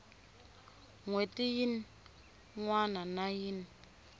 hweti yin wana na yin